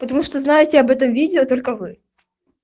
потому что знаете об этом видео только вы